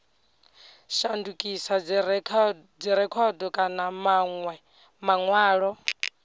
a shandukisa dzirekhodo kana manwe manwalo